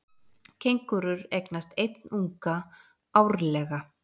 Kengúrur eignast einn unga árlega.